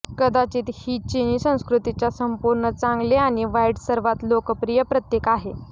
कदाचित ही चीनी संस्कृतीच्या संपूर्ण चांगले आणि वाईट सर्वात लोकप्रिय प्रतीक आहे